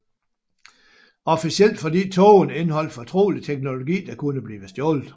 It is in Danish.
Officielt fordi togene indeholdte fortrolig teknologi der kunne blive stjålet